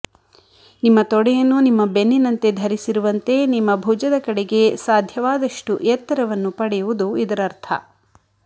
ನಿಮ್ಮ ತೊಡೆಯನ್ನು ನಿಮ್ಮ ಬೆನ್ನಿನಂತೆ ಧರಿಸಿರುವಂತೆ ನಿಮ್ಮ ಭುಜದ ಕಡೆಗೆ ಸಾಧ್ಯವಾದಷ್ಟು ಎತ್ತರವನ್ನು ಪಡೆಯುವುದು ಇದರರ್ಥ